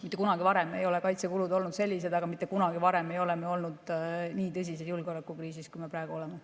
Mitte kunagi varem ei ole kaitsekulud sellised olnud, aga mitte kunagi varem ei ole me ka olnud nii tõsises julgeolekukriisis, nagu me praegu oleme.